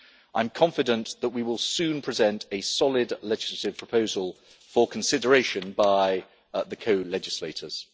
I am confident that we will soon present a solid legislative proposal for consideration by the co legislators.